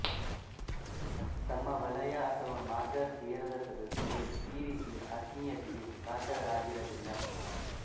ತಮ್ಮ ವಲಯ ಅಥವಾ ಮಾರ್ಗ ಸೇರದ ಸದಸ್ಯರು ಈ ರೀತಿಯ ಆತ್ಮೀಯತೆಗೆ ಪಾತ್ರರಾಗಿರಲಿಲ್ಲ